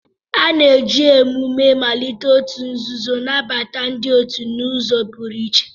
A na-eji emume mmalite òtù nzuzo nabata ndị otu n'ụzọ pụrụ iche.